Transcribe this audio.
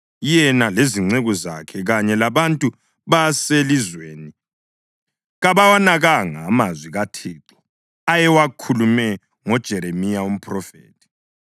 Yena lezinceku zakhe kanye labantu baselizweni kabawanakanga amazwi kaThixo ayewakhulume ngoJeremiya umphrofethi.